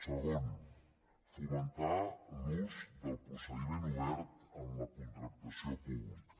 segon fomentar l’ús del procediment obert en la contractació pública